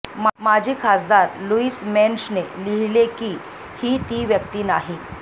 माजी खासदार लुईस मेन्शने लिहिले की ही ती व्यक्ती नाही